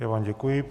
Já vám děkuji.